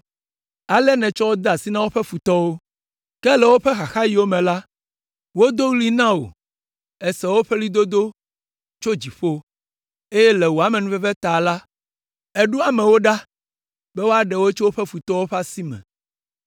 Ale nètsɔ wo de asi na woƒe futɔwo. Ke le woƒe xaxaɣiwo me la, wodo ɣli na wò, èse woƒe ɣlidodo tso dziƒo, eye le wò amenuveve ta la, èɖo amewo ɖa be woaɖe wo tso woƒe futɔwo ƒe